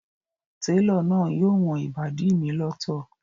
Télọ̀ náà yóò wọn ìbàdí mi lọ́tọ̀